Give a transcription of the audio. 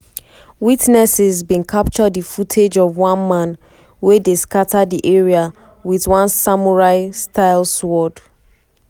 witnesses bin capture di footage of one man wey dey scata di area wit one samurai-style sword.